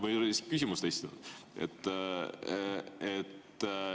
Ma isegi ei ole küsimust esitanud.